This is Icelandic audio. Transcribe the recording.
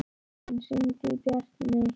Grein, hringdu í Bjartmey.